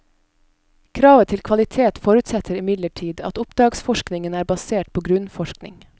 Kravet til kvalitet forutsetter imidlertid at oppdragsforskningen er basert på grunnforskning.